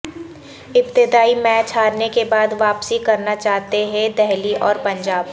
ابتدائی میچ ہارنے کے بعد واپسی کرنا چاہتے ہیں دہلی اور پنجاب